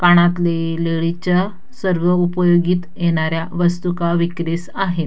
कानातले लेडीज च्या सर्व उपयोगीत येणाऱ्या वस्तु का विक्रीस आहेत.